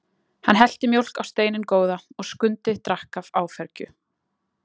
Hann hellti mjólk á steininn góða og Skundi drakk af áfergju.